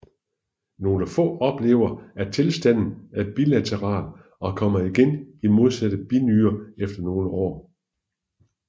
Nogle få oplever at tilstanden er bilateral og kommer igen i modsatte binyre efter nogle år